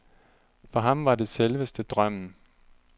For ham var det selveste drømmen.